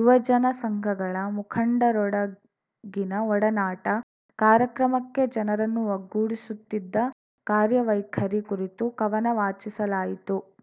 ಯುವಜನ ಸಂಘಗಳ ಮುಖಂಡರೊಡಗಿನ ಒಡನಾಟ ಕಾರ್ಯಕ್ರಮಕ್ಕೆ ಜನರನ್ನು ಒಗ್ಗೂಡಿಸುತ್ತಿದ್ದ ಕಾರ್ಯವೈಖರಿ ಕುರಿತು ಕವನ ವಾಚಿಸಲಾಯಿತು